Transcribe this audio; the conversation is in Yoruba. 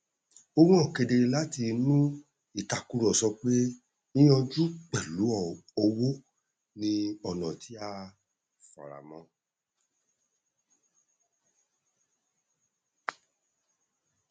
ó han kedere láti inú ìtàkùrọsọ pé yíyanjú pẹlú owó ni ọnà tí a faramọ